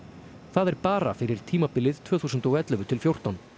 það er bara fyrir tímabilið tvö þúsund og ellefu til fjórtán